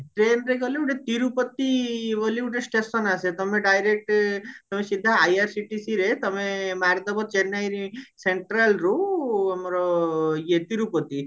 trainରେ ଗଲେ ଗୋଟେ ତିରୁପତି ବୋଲି ଗୋଟେ station ଆସେ ତମେ direct ତମେ ସିଧା IRCTCରେ ତମେ ଅମୃଦବ ଚେନ୍ନାଇରେ centralରୁ ଇଏ ଆମର ତିରୁପତି